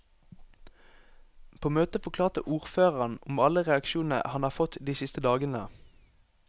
På møtet forklarte ordføreren om alle reaksjonene han har fått de siste dagene.